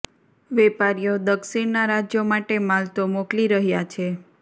વેપારીઓ દક્ષિણના રાજ્યો માટે માલ તો મોકલી રહ્યાં છે